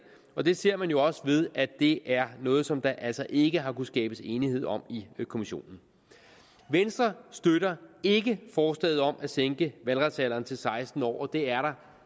og det ser man jo også ved at det er noget som der altså ikke har kunnet skabes enighed om i kommissionen venstre støtter ikke forslaget om at sænke valgretsalderen til seksten år og det er der